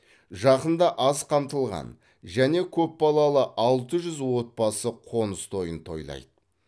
жақында аз қамтылған және көпбалалы алты жүз отбасы қоныс тойын тойлайды